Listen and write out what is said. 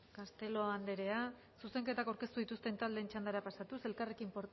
castelo andrea zuzenketak aurkeztu dituzten taldeen txandara pasatuz elkarrekin